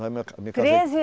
Treze?